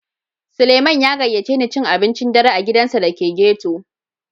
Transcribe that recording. Sulieman ya gaƴace ni cin abincin ɗare a giɗansa da ke ghetto.